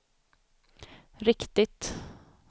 riktigt